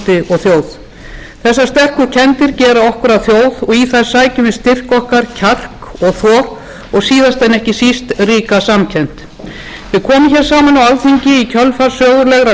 og þjóð þessar sterku kenndir gera okkur að þjóð og í þær sækjum við styrk okkar kjark og þor og síðast en ekki síst ríka samkennd við komum hér saman á alþingi í kjölfar sögulegra